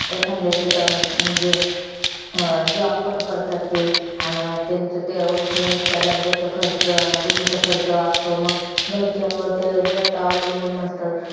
एखांद्याचे तर अं job पण करत ते. अन त्यांचा तेवढाच मेस च्या डब्याचा खर्च. room चा खर्च वाचतो. मंग घरच्यांवर ते जास्त अवलंबून नसतात.